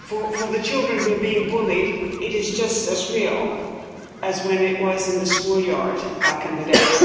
For the children who are being bullied, it is just as real as when it was in the schoolyard back in the day.